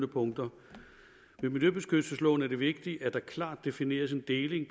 punkter i miljøbeskyttelsesloven er det vigtigt at der klart defineres en deling